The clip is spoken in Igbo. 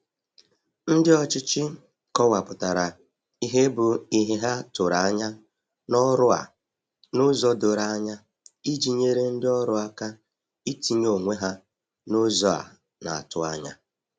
Ndi ọchịchị kọwapụtara ihe bụ ihe ha tụrụ anya n'ọrụ a n'ụzọ doro anya iji nyere ndị ọrụ aka itinye onwe ha n’ụzọ a na-atụ anya.